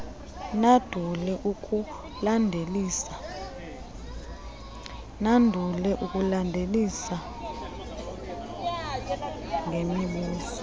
nandule ukulandelisa ngemibuzo